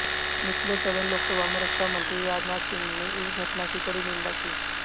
निचले सदन लोकसभा में रक्षा मंत्री राजनाथ सिंह ने इस घटना की कड़ी निंदा की